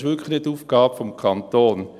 Das ist wirklich nicht Aufgabe des Kantons.